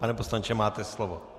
Pane poslanče, máte slovo.